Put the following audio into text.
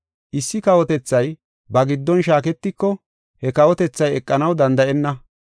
Issi kawotethay ba giddon shaaketiko he kawotethay eqanaw danda7enna.